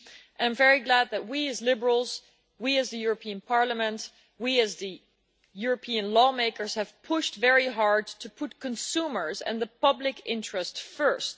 I am very glad that we, as Liberals, we, as the European Parliament, we, as European lawmakers have pushed very hard to put consumers and the public interest first